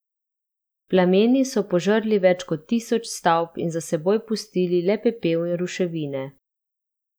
Plameni so požrli več kot tisoč stavb in za seboj pustili le pepel in ruševine.